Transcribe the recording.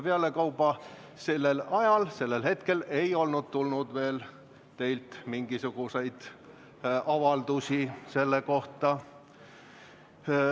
Pealekauba, sellel ajal, sellel hetkel ei olnud tulnud teilt veel mingisuguseid avaldusi selle kohta.